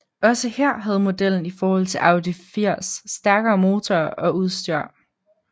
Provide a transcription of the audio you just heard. Også her havde modellen i forhold til Audi 80 stærkere motorer og mere udstyr